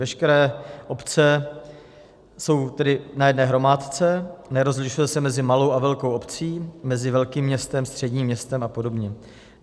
Veškeré obce jsou tedy na jedné hromádce, nerozlišuje se mezi malou a velkou obcí, mezi velkým městem, středním městem a podobně.